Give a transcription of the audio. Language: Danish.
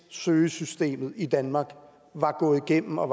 søgesystemet i danmark var gået igennem og